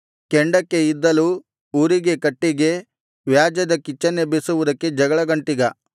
ಕೆಂಡಕ್ಕೆ ಇದ್ದಲು ಉರಿಗೆ ಕಟ್ಟಿಗೆ ವ್ಯಾಜ್ಯದ ಕಿಚ್ಚನ್ನೆಬ್ಬಿಸುವುದಕ್ಕೆ ಜಗಳಗಂಟಿಗ